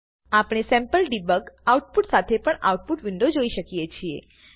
આપણે sample debug output સાથે પણ આઉટપુટ વિન્ડો જોઈ શકીએ છીએ